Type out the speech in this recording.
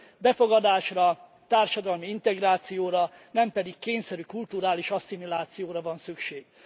Befogadásra, társadalmi integrációra, nem pedig kényszerű kulturális asszimilációra van szükség.